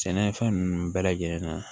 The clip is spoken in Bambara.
Sɛnɛfɛn ninnu bɛɛ lajɛlen na